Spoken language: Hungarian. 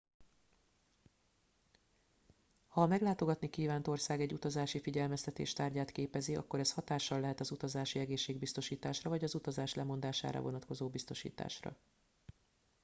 ha a meglátogatni kívánt ország egy utazási figyelmeztetés tárgyát képezi akkor az hatással lehet az utazási egészségbiztosításra vagy az utazás lemondására vonatkozó biztosításra